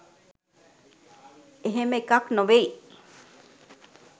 එහෙම එකක්‌ නොවෙයි.